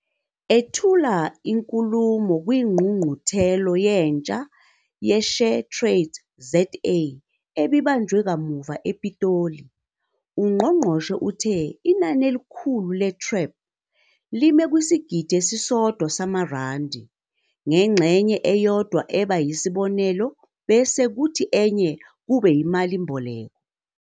Ethula inkulumo kwiNgqungquthela Yentsha ye-SheTradesZA ebibanjwe kamuva ePitoli, ungqongqoshe uthe inani elikhulu le-TREP lime kwisigidi esisodwa samarandi, ngengxenye eyodwa eba yisibonelelo bese kuthi enye kube imalimboleko.